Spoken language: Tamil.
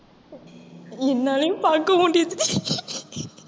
என்னாலயும் பார்க்க முடியுதுடி